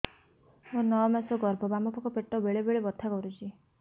ମୋର ନଅ ମାସ ଗର୍ଭ ବାମ ପାଖ ପେଟ ବେଳେ ବେଳେ ବଥା କରୁଛି